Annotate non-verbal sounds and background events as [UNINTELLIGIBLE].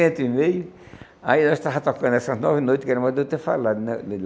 [UNINTELLIGIBLE] e meio, aí nós estava tocando essas nove noites, que era mais de eu ter falado né.